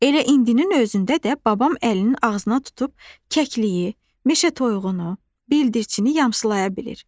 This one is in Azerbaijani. Elə indinin özündə də babam əlini ağzına tutub kəkliyi, meşə toyuğunu, bildirçini yamsılaya bilir.